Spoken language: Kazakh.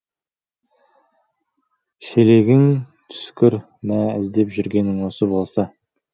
шелегің түскір мә іздеп жүргенің осы болса